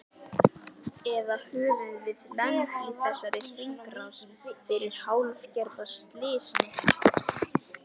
Eða höfum við lent í þessari hringrás fyrir hálfgerða slysni?